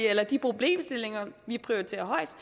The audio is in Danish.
eller de problemstillinger vi prioriterer højest